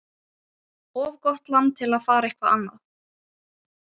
Of gott land til að fara eitthvað annað.